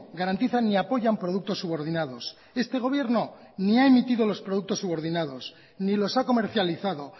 garantizan ni apoyan productos subordinados este gobierno ni ha emitido los productos subordinados ni los ha comercializado